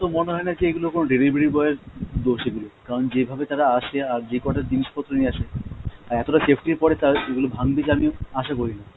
মনে হয় না যে এগুলো কোনো delivery boy এর দোষ এগুলো, কারণ যেভাবে তারা আসে আর যেকটা জিনিসপত্র নিয়ে আসে, আর এতটা safety এর পরে তাদের সেগুলো ভাঙবে আশাও করি না।